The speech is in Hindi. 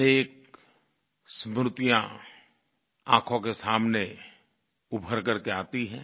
अनेक स्मृतियाँ आँखों के सामने उभर करके आती हैं